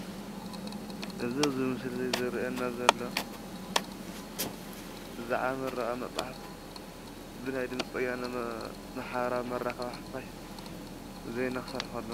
እዚ ኣብዚ ምስሊ ዝርኣየና ዘሎ ብዛዕባ ምረቓ መፅሓፍ ብናይ ድምፂ ወያነ ማሕበራዊ መራኸቢ ሓፋሽ ዜና ክሰርሕ ከሎ